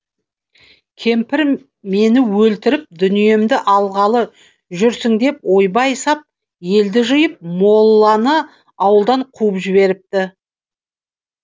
кемпір мені өлтіріп дүниемді алғалы жүрсің деп ойбай сап елді жиып молланы ауылдан қуып жіберіпті